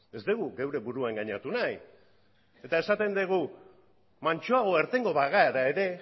ez dugu gure burua engainatu nahi eta esan dugu mantsoago irtengo bagara ere